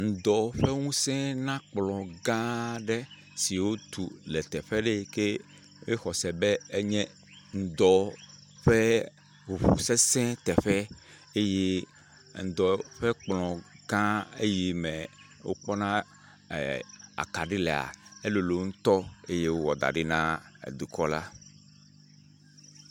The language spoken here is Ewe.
Ŋudɔ ƒe ŋusẽ na kplɔ gã aɖe si wotu le teƒe aɖe yi ke woxɔse be enye ŋudɔ ƒe ŋuŋu sesẽ teƒe eye ŋudɔ ƒe kplɔ gã eyi me wokpɔna ee.. akaɖi lee, elolo ŋutɔ eye wowɔ da ɖi na edukɔla.